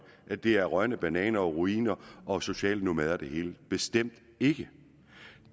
at det er rådne bananer og ruiner og socialnomader det hele bestemt ikke